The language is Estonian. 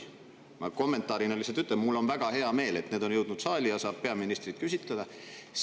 Ma lihtsalt kommentaarina ütlen, et mul on väga hea meel, et need on jõudnud saali ja saab peaministrit küsitleda.